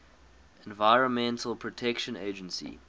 environmental protection agency